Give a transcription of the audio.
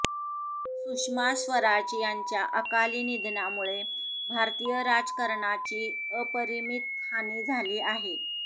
सुषमा स्वराज यांच्या अकाली निधनामुळे भारतीय राजकारणाची अपरिमित हानी झाली आहे